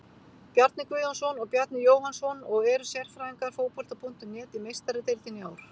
Bjarni Guðjónsson og Bjarni Jóhannsson og eru sérfræðingar Fótbolta.net í Meistaradeildinni í ár.